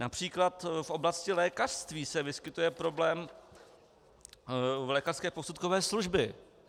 Například v oblasti lékařství se vyskytuje problém u lékařské posudkové služby.